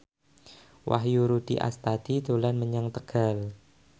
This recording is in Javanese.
Wahyu Rudi Astadi dolan menyang Tegal